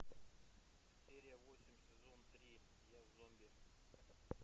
серия восемь сезон три я зомби